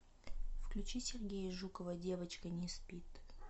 включи сергея жукова девочка не спит